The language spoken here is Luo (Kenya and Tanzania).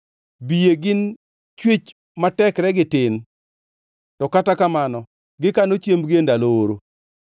Biye gin chwech ma tekregi tin, to kata kamano gikano chiembgi e ndalo oro;